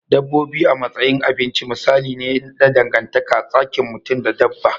Dabbobi a matsayin abinci misali ne na dangantaka tsakin mutum da dabba.